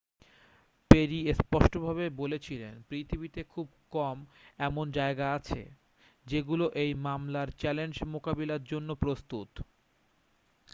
"Peri স্পষ্টভাবে বলেছিলেন "পৃথিবীতে খুব কম এমন জায়গা আছে যেগুলো এই মামলার চ্যালেঞ্জ মোকাবিলার জন্য প্রস্তুত।""